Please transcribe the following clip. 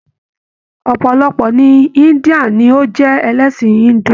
Ọpọlọpọ ni India ni o jẹ ẹlẹsin Hindu.